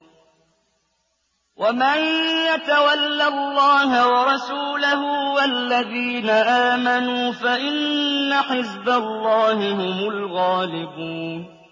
وَمَن يَتَوَلَّ اللَّهَ وَرَسُولَهُ وَالَّذِينَ آمَنُوا فَإِنَّ حِزْبَ اللَّهِ هُمُ الْغَالِبُونَ